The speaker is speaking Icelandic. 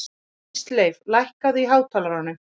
Ísleif, lækkaðu í hátalaranum.